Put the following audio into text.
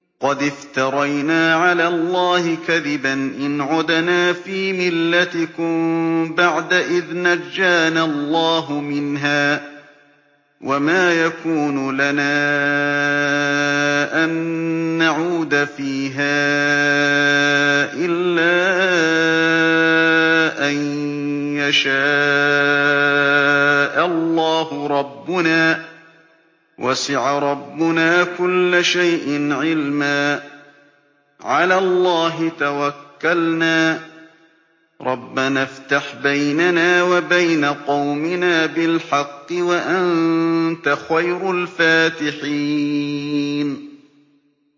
قَدِ افْتَرَيْنَا عَلَى اللَّهِ كَذِبًا إِنْ عُدْنَا فِي مِلَّتِكُم بَعْدَ إِذْ نَجَّانَا اللَّهُ مِنْهَا ۚ وَمَا يَكُونُ لَنَا أَن نَّعُودَ فِيهَا إِلَّا أَن يَشَاءَ اللَّهُ رَبُّنَا ۚ وَسِعَ رَبُّنَا كُلَّ شَيْءٍ عِلْمًا ۚ عَلَى اللَّهِ تَوَكَّلْنَا ۚ رَبَّنَا افْتَحْ بَيْنَنَا وَبَيْنَ قَوْمِنَا بِالْحَقِّ وَأَنتَ خَيْرُ الْفَاتِحِينَ